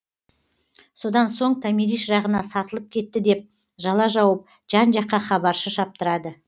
содан соң томирис жағына сатылып кетті деп жала жауып жан жаққа хабаршы шаптырады